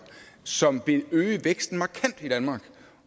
som vil øge væksten markant i danmark